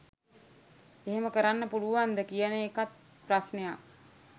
එහෙම කරන්න පුලුවන්ද කියන එකත් ප්‍රශ්නයක්.